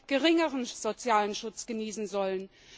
geringeren sozialen Schutz genießen sollen.